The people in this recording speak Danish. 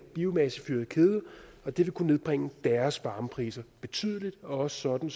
biomassefyret kedel og det vil kunne nedbringe deres varmepriser betydeligt også sådan